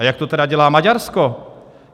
A jak to tedy dělá Maďarsko?